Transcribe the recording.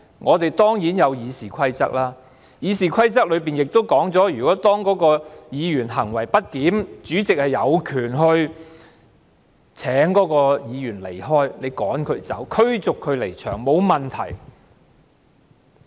我們當然有《議事規則》，《議事規則》亦說明當議員行為不檢時，主席有權請該位議員離開，驅逐他離場，沒有問題。